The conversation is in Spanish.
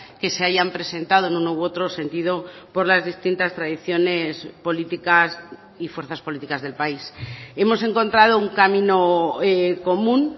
que se hayan presentado en uno u otro sentido por las distintas tradiciones políticas y fuerzas políticas del país hemos encontrado un camino común